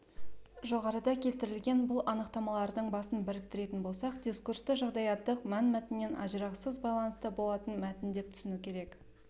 жоғарыда келтірілген бұл анықтамалардың басын біріктіретін болсақ дискурсты жағдаяттық мәнмәтіннен ажырағысыз байланыста болатын мәтін деп түсіну керек